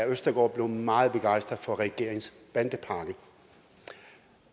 østergaard blev meget begejstret for regeringens bandepakke